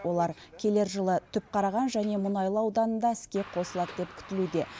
олар келер жылы түпқараған және мұнайлы ауданында іске қосылады деп күтілуде